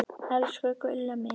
Elsku Gulla mín.